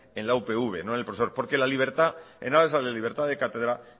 en la upv no en el profesor porque la libertad en aras en la libertad de cátedra